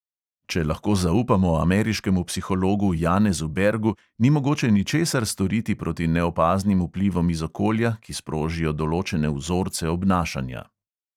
Če lahko zaupamo ameriškemu psihologu janezu bergu, ni mogoče ničesar storiti proti neopaznim vplivom iz okolja, ki sprožijo določene vzorce obnašanja.